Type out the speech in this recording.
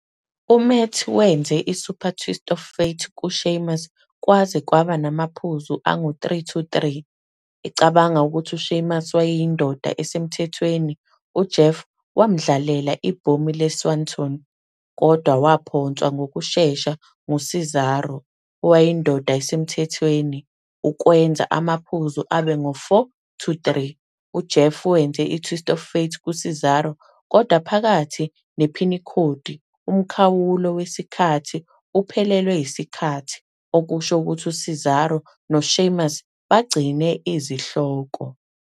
UMatt wenze i-Super "Twist of Fate" ku-Sheamus kwaze kwaba namaphuzu 3-3. Ecabanga ukuthi uSheamus wayeyindoda esemthethweni, uJeff wamdlalela "iBhomu le-Swanton", kodwa waphonswa ngokushesha nguCesaro, owayeyindoda esemthethweni, ukwenza amaphuzu abe ngu-4-3. UJeff wenze "i-Twist of Fate" ku-Cesaro, kodwa phakathi nephinikhodi, umkhawulo wesikhathi uphelelwe yisikhathi, okusho ukuthi u-Cesaro no-Sheamus bagcine izihloko.